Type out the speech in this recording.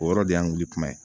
O yɔrɔ de y'an wuli kuma ye